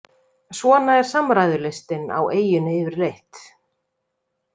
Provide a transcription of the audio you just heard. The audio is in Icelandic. Svona er samræðulistin á eyjunni yfirleitt.